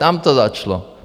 Tam to začalo.